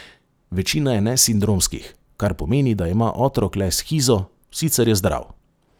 Večina je nesindromskih, kar pomeni, da ima otrok le shizo, sicer je zdrav.